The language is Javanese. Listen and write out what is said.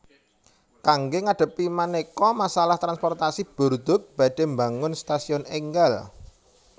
Kangge ngadhepi manéka masalah transportasi Bordeaux badhé mbangun stasiun énggal